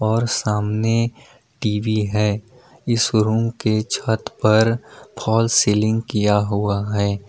और सामने टी_वी है इस रूम के छत पर फाल्स सीलिंग किया हुआ है।